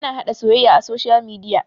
ana haɗa soyayya a soshiyal midia